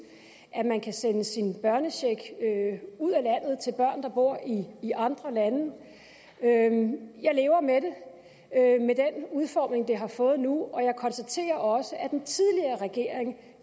at man kan sende sin børnecheck ud af landet til børn der bor i andre lande jeg lever med den udformning det har fået nu og jeg konstaterer også at den tidligere regering